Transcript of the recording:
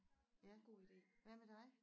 Ja hvad med dig